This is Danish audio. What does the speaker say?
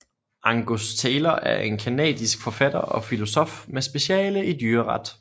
Angus Taylor er en canadisk forfatter og filosof med speciale i dyreret